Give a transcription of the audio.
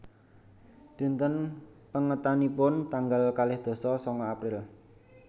Dinten pèngetanipun tanggal kalih dasa sanga April